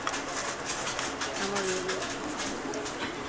আমরা রবীন্দ্র সঙ্গীত ভালো লাগে